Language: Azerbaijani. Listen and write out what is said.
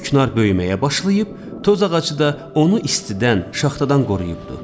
Küknar böyüməyə başlayıb, tozağacı da onu istidən, şaxtadan qoruyubdu.